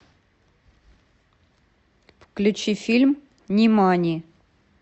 включи фильм нимани